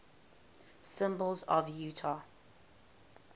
symbols of utah